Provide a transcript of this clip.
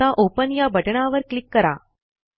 आता ओपन या बटणावर क्लिक करा